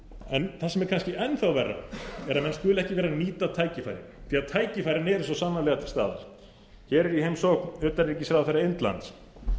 en það sem er kannski enn þá verra að menn skuli ekki vera að nýta tækifærið því að tækifærin eru svo sannarlega til staðar hér er í heimsókn utanríkisráðherra indlands